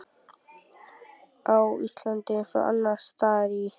Á Íslandi, eins og annars staðar í